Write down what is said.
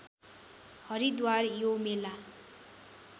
हरिद्वार यो मेला